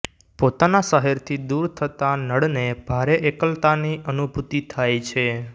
પોતાના શહેરથી દૂર થતાં નળને ભારે એકલતાની અનુભૂતિ થાય છે